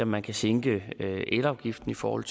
man kan sænke elafgiften i forhold